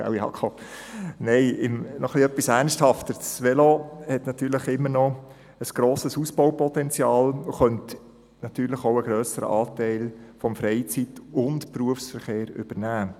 Nein, im Ernst: Das Velo hat immer noch ein grosses Ausbaupotenzial und könnte natürlich einen grösseren Anteil des Freizeit- und Berufsverkehrs übernehmen.